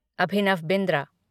Abhinav Bindra